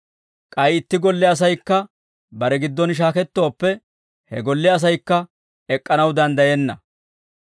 k'ay itti golle asaykka bare giddon shaakettooppe, he golle asaykka ek'k'anaw danddayenna.